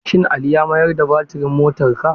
Shin Ali ya mayar da batirin motarka?